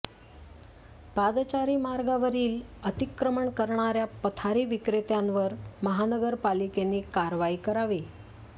पादचारी मार्गावरील अतिक्रमण करणाऱ्या पथारी विक्रेत्यांवर महानगरपालिकेनी कारवाई करावी